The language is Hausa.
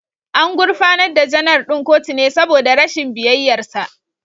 An gurfanar da Janar ɗin kotu ne saboda rashin biyayyarsa